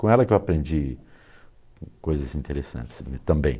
Com ela que eu aprendi coisas interessantes também.